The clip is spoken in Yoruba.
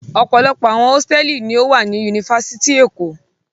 Ọ̀pọ̀lọpọ̀ àwọn hósítẹ́ẹ́lì ni ó wà ní Yunifásítì Èkó.